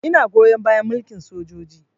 Ina goyon bayan mulkin sojoji